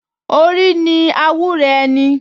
Orí ni àwúre ẹni